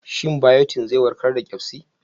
Shin biotin zai warkar da ƙyazbi?